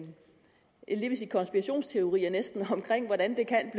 sige konspirationsteorier omkring hvordan det kan